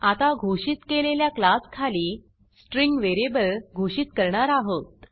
आता घोषित केलेल्या क्लासखाली स्ट्रिंग व्हेरिएबल घोषित करणार आहोत